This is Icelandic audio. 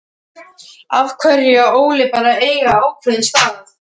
Af hverju á Óli bara að eiga ákveðinn stað?